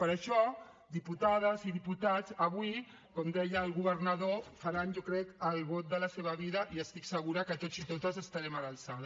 per això diputades i diputats avui com deia el governador faran jo crec el vot de la seva vida i estic segura que tots i totes estarem a l’alçada